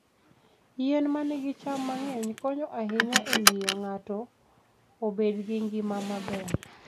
Yien ma nigi cham mang'eny konyo ahinya e miyo ng'ato obed gi ngima maber.